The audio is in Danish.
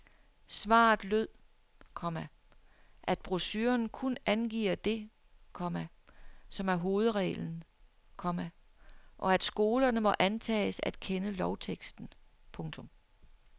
Svaret lød, komma at brochuren kun angiver det, komma som er hovedreglen, komma og at skolerne må antages at kende lovteksten. punktum